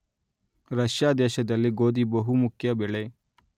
Russia ದೇಶದಲ್ಲಿ ಗೋದಿ ಬಹು ಮುಖ್ಯ ಬೆಳೆ